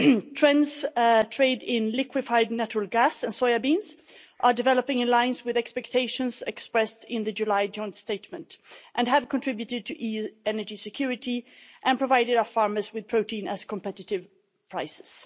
Trends trade in liquefied natural gas and soya beans are developing in line with expectations expressed in the July joint statement and have contributed to EU energy security and provided our farmers with protein at competitive prices.